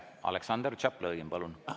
Aleksandr Tšaplõgin, palun!